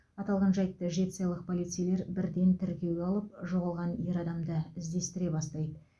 аталған жайтты жетісайлық полицейлер бірден тіркеуге алып жоғалған ер адамды іздестіре бастайды